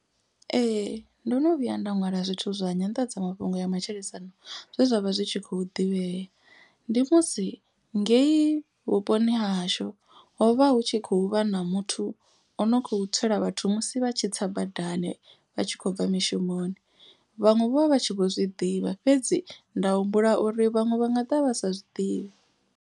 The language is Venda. Ee ndo no vhuya nda ṅwala zwithu zwa nyanḓadzamafhungo ya matshilisano zwe zwa vha zwi tshi khou ḓivhea. Ndi musi ngeyi vhuponi ha hashu hovha hu tshi khou vha na muthu o no kho tswela vhathu. Musi vha tshi tsa badani vha tshi khou bva mishumoni. Vhaṅwe vho vha vha tshi vho zwiḓivha fhedzi nda humbula uri vhaṅwe vha nga ḓivha vha sa zwiḓivhi.